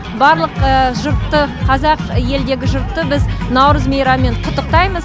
барлық жұртты қазақ елдегі жұртты біз наурыз мейраммен құттықтаймыз